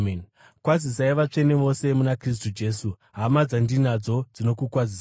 Kwazisai vatsvene vose muna Kristu Jesu. Hama dzandinadzo dzinokukwazisai.